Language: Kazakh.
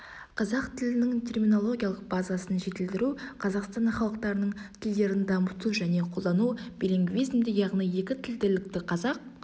қазақ тілінің терминологиялық базасын жетілдіру қазақстан халықтарының тілдерін дамыту және қолдану билингвизмді яғни екі тілділікті қазақ